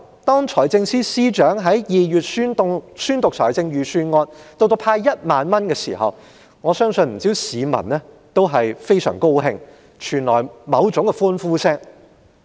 當財政司司長於2月宣讀預算案並公布會派發1萬元，我相信不少市民非常高興，並發出某種歡呼聲。